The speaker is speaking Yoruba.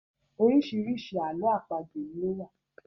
Orísirísi ààlọ́ àpagbè ni ó wà